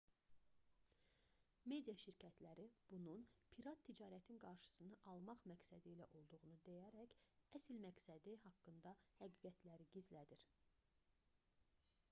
media şirkətləri bunun pirat ticarətin qarşısını almaq məqsədilə olduğunu deyərək əsl məqsədi haqqında həqiqətləri gizlədir